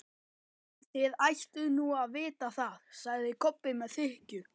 Þið ættuð nú að vita það, sagði Kobbi með þykkju.